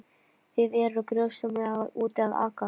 Þið eruð gjörsamlega úti að aka.